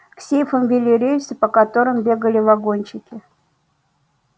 к сейфам вели рельсы по которым бегали вагончики